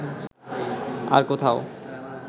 আর কোথাও